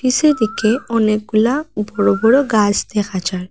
সেদিকে অনেকগুলা বড় বড় গাস দেখা যায়।